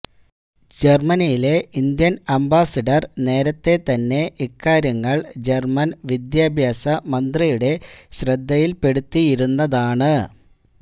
ജര്മനിയിലെ Indian ambassador നേരത്തെ തന്നെ ഇക്കാര്യങ്ങള് ജര്മന് വിദ്യാഭ്യാസ മന്ത്രിയുടെ ശ്രദ്ധയില്പ്പെടുത്തിയിരുന്നതാണ്